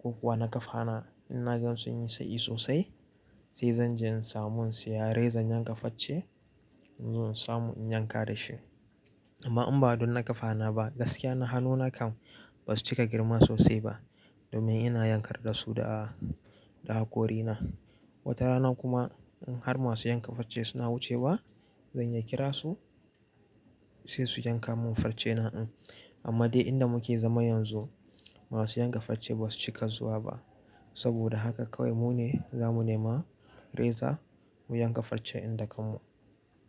ko kuwa na kafa na, in na gan sun yi tsayi sosai sai zan je in samu siya reza in yankafarce in zo in samu in yanka da shi. Amma in ba don na kafa na ba gaskiya na hannu nakam ba su cika girma sosai ba domin ina yankar da su da, da hakorina. Wata rana kuma in har masu yankafacce suna wucewa zan ya kira su sai su yanka mun farcena. Amma dai inda muke zama yanzu masu yankafacce ba su cika zuwa ba. Saboda haka kawai mu ne za mu nema reza mu yi yankafarce din da kanmu.